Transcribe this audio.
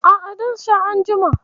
A'a, zan sha anjima.